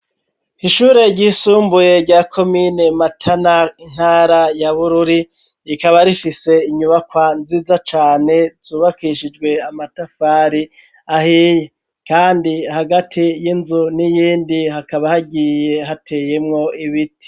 Ishure ry'isumbuye rya komine matana intara ya bururi rikaba rifise inyubakwa nziza cane ryubakishijwe amatafari ahiye kandi hagati y'inzu niyindi hakaba hagiye hateyemwo ibiti.